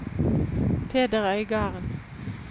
Peder Øygarden